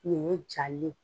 Ɲɛɲɛ jalen